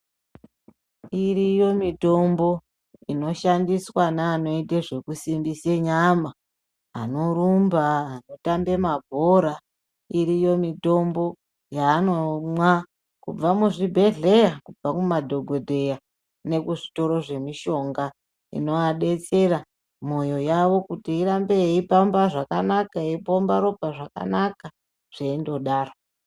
Iriyo mitombo inoshandiswa neanoita zvekusimbise nyama anorumba anotambe mabhora , iriyo mitombo yaanomwa kubva muzvibhedhlera kubva kumadhokotera nekuzvitoro zvemishonga , inovabetsera moyo yawo kuti irambe yeipambe zvakanaka eyipomba ropa zvakanaka zveindodaro.